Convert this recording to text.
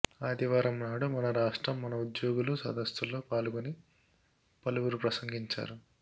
ఆదివారం నాడు మన రాష్ట్రం మన ఉద్యోగులు సదస్సులో పాల్గొని పలువురు ప్రసంగించారు